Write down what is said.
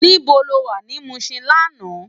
Nibó ló wá ni Mushin làná?